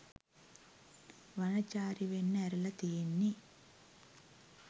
වනචාරි වෙන්න ඇරලා තියෙන්නේ